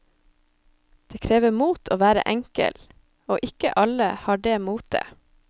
Det krever mot å være enkel, og ikke alle har det motet.